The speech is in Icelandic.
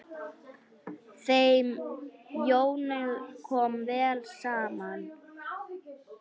Þeim Jóni kom vel saman.